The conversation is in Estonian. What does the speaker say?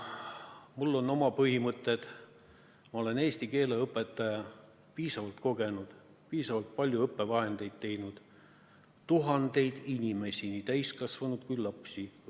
Mul on oma põhimõtted, ma olen eesti keele õpetaja, piisavalt kogenud, piisavalt palju õppevahendeid teinud, tuhandeid inimesi õpetanud, nii täiskasvanud kui ka lapsi.